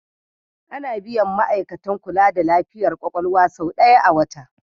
Ana biyan ma'aikatan kula da lafiyar kwakwalwa sau ɗaya a wata.